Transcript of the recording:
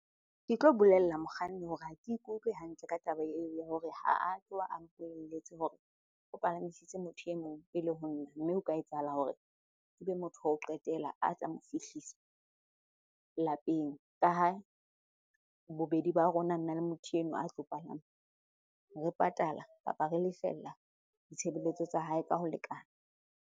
Ke tlo bolella mokganni hore ha ke ikutlwe hantle ka taba eo ya hore ha a tloha a mpolelletse hore o palamisitse motho e mong pele ho nna. Mme o ka etsahala hore ebe motho wa ho qetela a tla mo fihlisa lapeng. Ka ha bobedi ba rona, nna le motho enwa a tlo palama re patala kapa re lefella ditshebeletso tsa hae ka ho lekana.